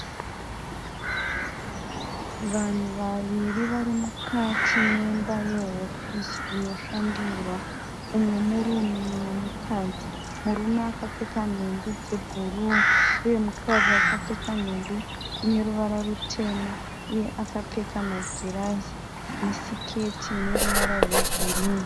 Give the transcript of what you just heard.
Vanhu vaviri vari mukati memba ye hofisi inoshandirwa. Mumwe murume, mumwe mukadzi. Murume akapfeka nhumbi dze bhuruu uye mukadzi akapfeka nhumbi ineruvara rutema. Uye akapfeka magirazi ne siketi ineruvara rwe girinhi.